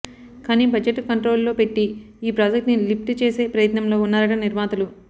కాని బడ్జెట్ కంట్రోలులో పెట్టి ఈ ప్రాజెక్టుని లిప్ట్ చేసే ప్రయత్నంలో ఉన్నారట నిర్మాతలు